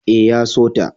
E, ya so ta.